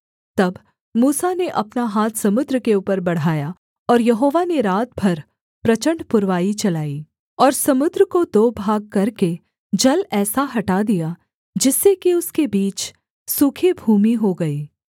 तब मूसा ने अपना हाथ समुद्र के ऊपर बढ़ाया और यहोवा ने रात भर प्रचण्ड पुरवाई चलाई और समुद्र को दो भाग करके जल ऐसा हटा दिया जिससे कि उसके बीच सूखी भूमि हो गई